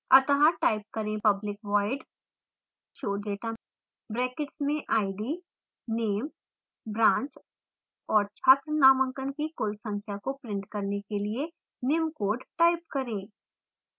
अत: type करें public void showdata brackets में id name branch और छात्र नामांकन की कुल संख्या को print करने के लिए निम्न code type करें